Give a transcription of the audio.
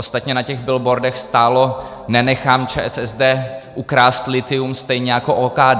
Ostatně na těch billboardech stálo: Nenechám ČSSD ukrást lithium stejně jako OKD.